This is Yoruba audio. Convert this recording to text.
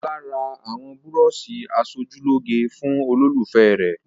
Ọlá ra àwọn búrọ́ṣì aṣojúlóge fún olólùfẹ́ rẹ̀.